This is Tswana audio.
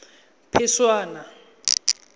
phešwana